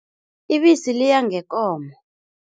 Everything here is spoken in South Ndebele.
Ibisi liya ngekomo.